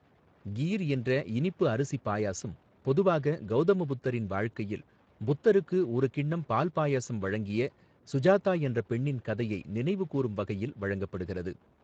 கீர் என்ற இனிப்பு அரிசிப் பாயாசம் பொதுவாக கௌதம புத்தரின் வாழ்க்கையில், புத்தருக்கு ஒரு கிண்ணம் பால் பாயாசம் வழங்கிய சுஜாதா என்ற பெண்ணின் கதையை நினைவு கூரும் வகையில் வழங்கப்படுகிறது.